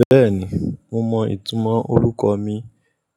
Bẹ́ẹ̀ni, mo mọ ìtumọ̀ orúkọ mi.